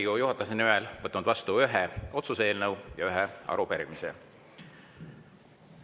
Olen Riigikogu juhatuse nimel võtnud vastu ühe otsuse eelnõu ja ühe arupärimise.